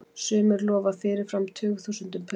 Sumir lofa fyrirfram tugþúsundum punda.